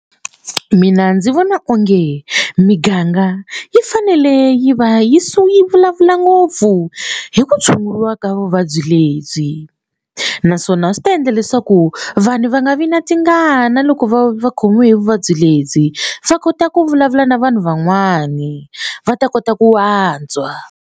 Mina ndzi vona onge miganga yi fanele yi va yi yi vulavula ngopfu hi ku tshunguriwa ka vuvabyi lebyi naswona swi ta endla leswaku vanhu va nga vi na tingana loko vo va khomiwe hi vuvabyi lebyi va kota ku vulavula na vanhu van'wani va ta kota ku antswa.